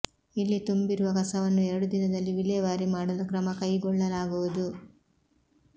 ಇಲ್ಲಿ ತುಂಬಿರುವ ಕಸವನ್ನು ಎರಡು ದಿನದಲ್ಲಿ ವಿಲೇವಾರಿ ಮಾಡಲು ಕ್ರಮ ಕೈಗೊಳ್ಳಲಾಗುವುದು